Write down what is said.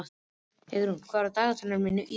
Eirún, hvað er á dagatalinu mínu í dag?